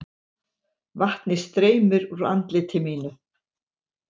Vatnið streymir úr andliti mínu.